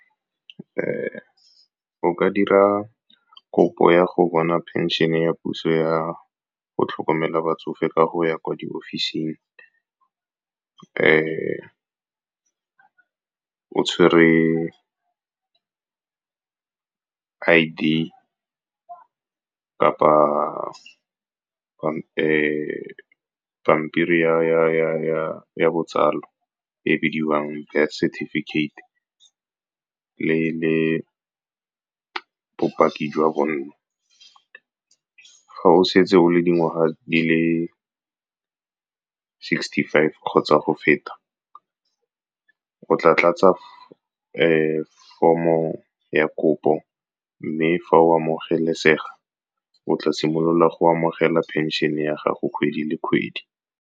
O ka dira kopo ya go bona phenšene ya puso ya go tlhokomela batsofe ka go ya kwa di ofising o tshwere I_D kapa pampiri ya botsalo e bidiwang birth certificate, le bopaki jwa bonno. Ga o setse o le dingwaga di le sixty-five kgotsa go feta, o tla tlatsa form-o ya kopo. Mme fa o amogelesega, o tla simolola go amogela phenšene ya gago kgwedi le kgwedi.